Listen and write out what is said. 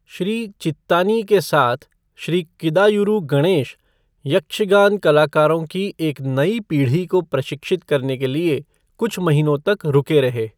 श्री चित्तानी के साथ श्री किदायूरू गणेश, यक्षगान कलाकारों की एक नई पीढ़ी को प्रशिक्षित करने के लिए कुछ महीनों तक रुके रहे।